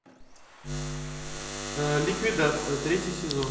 ликвидация третий сезон